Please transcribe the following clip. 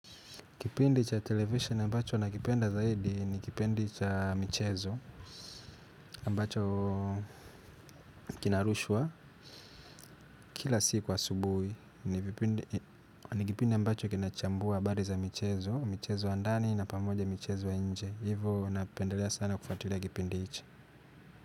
Kipindi cha television ambacho nakipenda zaidi ni kipindi cha michezo ambacho kinarushwa kila siku asubuhi. Ni kipindi ambacho kinachambua habari za michezo, michezo ya ndani na pamoja michezo ya nje. Hivo napendelea sana kufwatilia kipindi hichi.